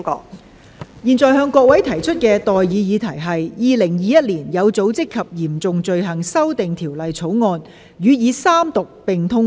我現在向各位提出的待議議題是：《2021年有組織及嚴重罪行條例草案》予以三讀並通過。